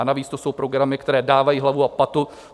A navíc to jsou programy, které dávají hlavu a patu.